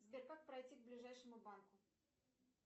сбер как пройти к ближайшему банку